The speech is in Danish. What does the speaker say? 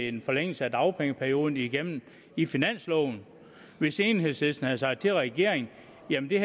en forlængelse af dagpengeperioden igennem i finansloven hvis enhedslisten havde sagt til regeringen